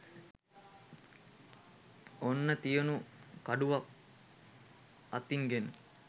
ඔන්න තියුණු කඩුවක් අතින් ගෙන